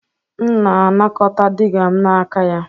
M na-anakọta digger m n'aka ya